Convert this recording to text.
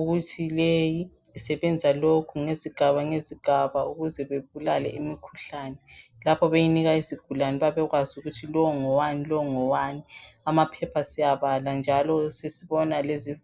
ukuthi leyi isebenza lokhu ngezigaba ngezigaba ukuze bebulale imikhuhlane, lapho beyinika izigulane babekwazi ukuthi lo ngowani, lo ngowani amaphepha siyabala njalo sesbona lezi"